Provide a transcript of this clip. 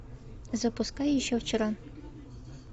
запускай еще вчера